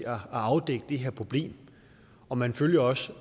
at afdække det her problem og man følger også